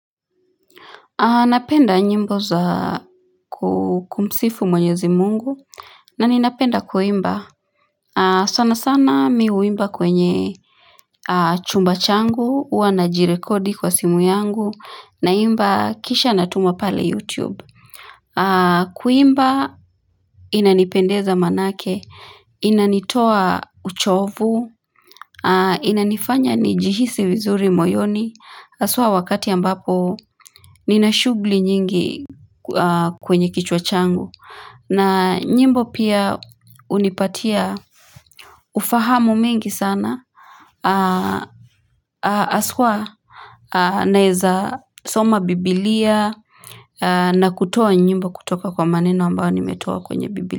Napenda nyimbo za kumsifu mwenyezi mungu, na ninapenda kuimba. Sana sana mi huimba kwenye chumba changu, huwa najirekodi kwa simu yangu, naimba kisha natuma pale YouTube. Kuimba inanipendeza maanake, inanitoa uchovu, inanifanya nijihisi vizuri moyoni, haswa wakati ambapo nina shughuli nyingi kwenye kichwa changu na nyimbo pia hunipatia ufahamu mingi sana haswa naeza soma biblia na kutoa nyimbo kutoka kwa maneno ambayo nimetoa kwenye biblia.